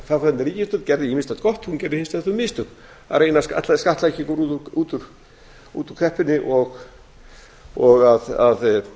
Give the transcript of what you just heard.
segja að þáverandi ríkisstjórn gerði ýmislegt gott en hún gerði hins vegar þau mistök að ætla að skattleggja okkur út úr kreppunni og að